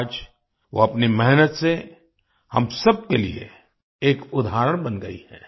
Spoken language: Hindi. आज वो अपनी मेहनत से हम सबके लिए एक उदाहरण बन गई हैं